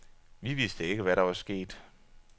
Vi vidste ikke, hvad der var sket.